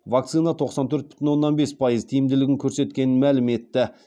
вакцина тоқсан төрт бүтін оннан бес пайыз тиімділігін көрсеткенін мәлім етті